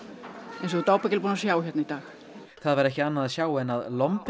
eins og þú ert ábyggilega búinn að sjá hérna í dag það var ekki annað að sjá en að